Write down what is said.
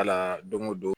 Kala don o don